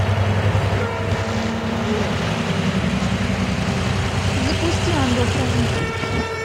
запусти ангел хранитель